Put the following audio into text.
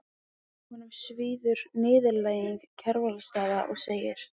Honum svíður niðurlæging Kjarvalsstaða og segir